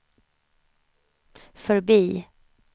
förbi